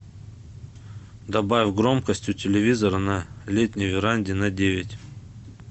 добавь громкость у телевизора на летней веранде на девять